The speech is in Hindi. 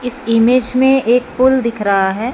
इस इमेज में एक पुल दिख रहा है।